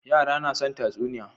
yara na son tatsuniya